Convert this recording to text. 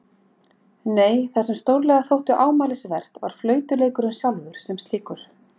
Nei, það sem stórlega þótti ámælisvert var flautuleikurinn sjálfur sem slíkur.